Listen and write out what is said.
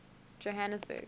johanesburg